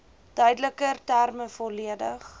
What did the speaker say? duideliker terme volledig